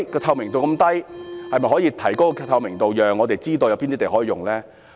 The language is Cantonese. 透明度這麼低，當局可否提高透明度，讓我們知道有哪些土地可以使用呢？